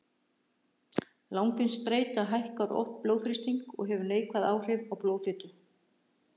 Langvinn streita hækkar oft blóðþrýsting og hefur neikvæð áhrif á blóðfitur.